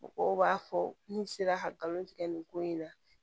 Mɔgɔw b'a fɔ n sera ka galon tigɛ nin ko in na